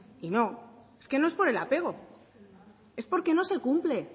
y no e que no es por el apego es porque no se cumple